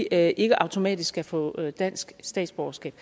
er ikke automatisk skal få dansk statsborgerskab